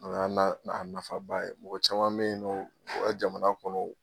O y'a na na nafaba ye mɔgɔ caman be yen nɔn o bɛ jamana kɔnɔ